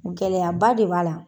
Gɛlɛyaba de b'a la.